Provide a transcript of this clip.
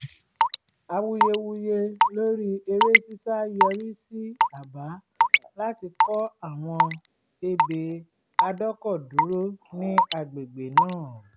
awuyewuye lórí eré ṣíṣá yọrí sí àbá láti kọ́ àwọn ebè adọ́kọ̀dúró ní agbègbè náà